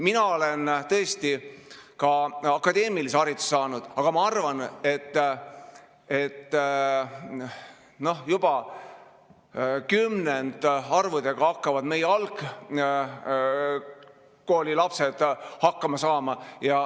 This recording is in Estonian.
Mina olen tõesti ka akadeemilise hariduse saanud, aga ma arvan, et kümnendarvudega saavad meie algkoolilapsed ka hakkama.